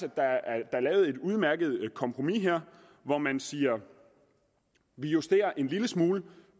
at der er lavet et udmærket kompromis her hvor man siger at vi justerer en lille smule